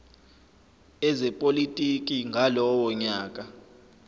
ezepolitiki ngalowo nyaka